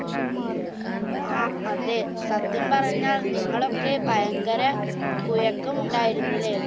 ആ അതെ സത്യം പറഞ്ഞാൽ നിങ്ങളൊക്കെ ഭയങ്കര കുഴക്കം ഉണ്ടായുന്നല്ലേ